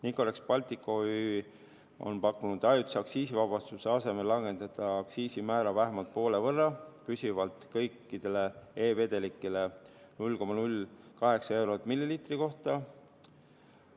Nicorex Baltic OÜ on pakkunud ajutise aktsiisivabastuse asemel langetada aktsiisimäära vähemalt poole võrra püsivalt kõikidele e-vedelikele ehk 0,08 eurot milliliitri kohta.